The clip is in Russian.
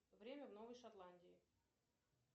время в новой шотландии